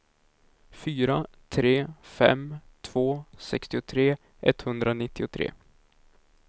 fyra tre fem två sextiotre etthundranittiotre